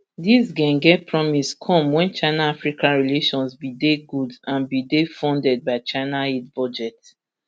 dis ghen ghen promise come wen chinaafrica relations bin dey good and bin dey funded by china aid budget